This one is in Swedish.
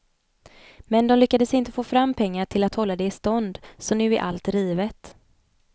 Men de lyckades inte få fram pengar till att hålla det i stånd så nu är allt rivet.